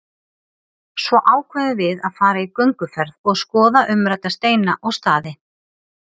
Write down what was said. Svo ákveðum við að fara í gönguferð og skoða umrædda steina og staði.